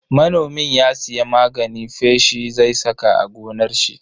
Manomin ya siya magani feshi zai saka a gonar shi.